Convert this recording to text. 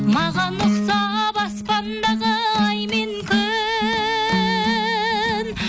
маған ұқсап аспандағы ай мен күн